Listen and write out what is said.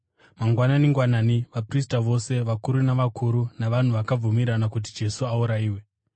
Mangwanani-ngwanani vaprista vose vakuru navakuru vavanhu vakabvumirana kuti Jesu aurayiwe.